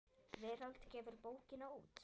Veröld gefur bókina út.